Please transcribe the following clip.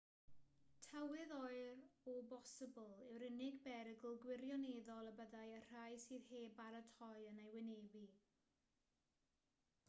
tywydd oer o bosibl yw'r unig berygl gwirioneddol y bydd y rhai sydd heb baratoi yn ei wynebu